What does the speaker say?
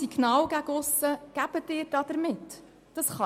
Welches Signal senden Sie damit nach aussen aus?